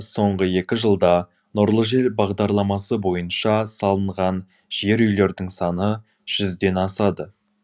соңғы екі жылда нұрлы жер бағдарламасы бойынша салынған жер үйлердің саны жүзден асады